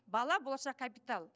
бала болашақ капитал